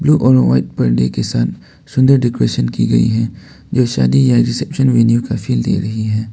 Blue और white पर्दे के साथ सुंदर डेकोरेशन की गई है जो शादी या रिसेप्शन में न्यू का फील दे रही है।